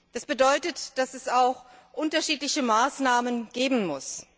Das bedeutet, dass es auch unterschiedliche Maßnahmen geben muss.